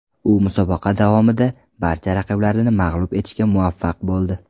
U musobaqa davomida barcha raqiblarini mag‘lub etishga muvaffaq bo‘ldi.